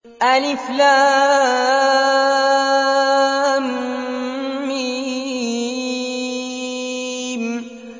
الم